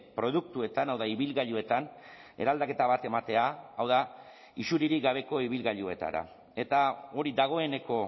produktuetan hau da ibilgailuetan eraldaketa bat ematea hau da isuririk gabeko ibilgailuetara eta hori dagoeneko